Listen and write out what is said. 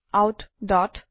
out